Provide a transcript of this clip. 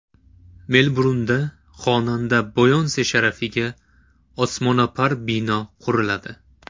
Melburnda xonanda Beyonse sharafiga osmono‘par bino quriladi.